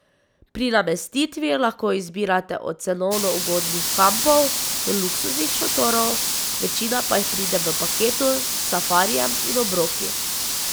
Pri namestitvi lahko izbirate od cenovno ugodnih kampov do luksuznih šotorov, večina pa jih pride v paketu s safarijem in obroki.